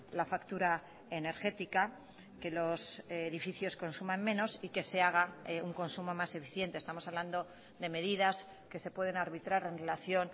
la factura energética que los edificios consuman menos y que se haga un consumo más eficiente estamos hablando de medidas que se pueden arbitrar en relación